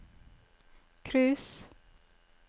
cruise